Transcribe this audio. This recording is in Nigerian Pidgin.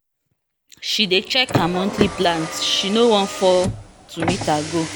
she dey check her monthly plans she no wan fail to meet her goal